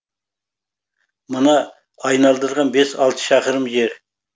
мына айналдырған бес алты шақырым жер